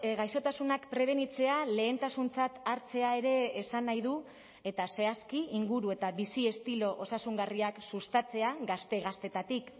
gaixotasunak prebenitzea lehentasuntzat hartzea ere esan nahi du eta zehazki inguru eta bizi estilo osasungarriak sustatzea gazte gaztetatik